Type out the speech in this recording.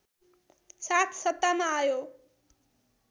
साथ सत्तामा आयो